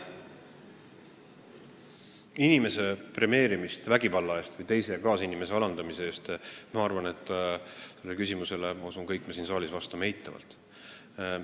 Inimese premeerimisse vägivalla eest ja kaasinimese alandamise eest me küllap kõik siin saalis suhtume eitavalt.